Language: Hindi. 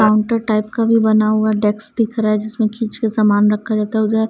काउंटर टाइप का भी बना हुआ डेक्स दिख रहा है जिसमें खींच के सामान रखा जाता है उधर --